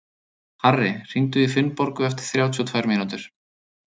Harri, hringdu í Finnborgu eftir þrjátíu og tvær mínútur.